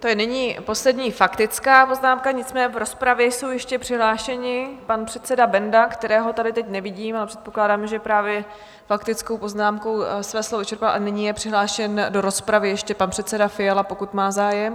To je nyní poslední faktická poznámka, nicméně v rozpravě jsou ještě přihlášeni pan předseda Benda, kterého tady teď nevidím, ale předpokládám, že právě faktickou poznámkou své slovo vyčerpal, a nyní je přihlášen do rozpravy ještě pan předseda Fiala, pokud má zájem?